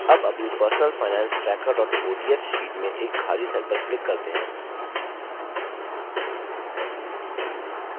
अब अपनी personal finance tracker ods sheet में एक खाली cell पर click करते हैं